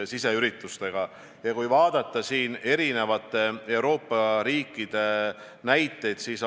Siseminister on kogu aeg olnud kaasatud, kui me oleme rääkinud Politsei- ja Piirivalveametist või Päästeametist.